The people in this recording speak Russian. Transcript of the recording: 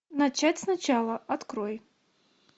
начать сначала открой